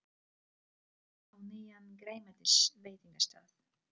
Þau fóru á nýjan grænmetisveitingastað.